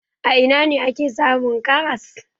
A ina ne ake samun karas?